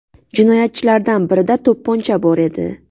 Jinoyatchilardan birida to‘pponcha bor edi.